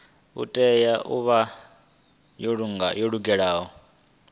tea u vha yo lugela